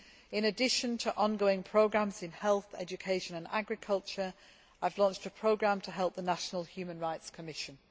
In addition to ongoing programmes in health, education and agriculture, I have launched a programme to help the national human rights commission.